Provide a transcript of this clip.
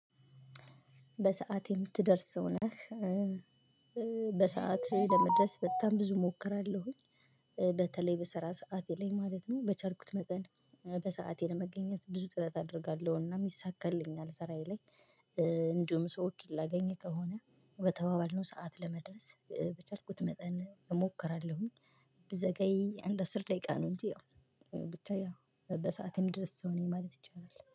በሰአት የምትደርስ ሰው ነህ? በሰአት ለመድረስ በጣም ብዙ እሞክራለሁኝ። በተለይ በስራ ሰዓቴ ላይ ማለት ነው። በቻልኩት መጠን በሰአቴ ለመገኘት ብዙ ጥረት አደርጋለሁና ይሳካልኛል ስራዬ ላይ። እንዲሁም ሰዎችን ላገኝ ከሆነ በተባባልነው ሰዓት ለመድረስ በቻልኩት መጠን እሞክራለሁኝ። ብዘገይ አንድ አስር ደቂቃ ነው እንጂ ያው። ብቻ ያው በሰአቴ እምደርስ ሰው ነኝ ማለት ይቻላል